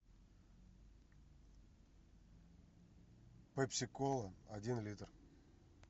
пепси кола один литр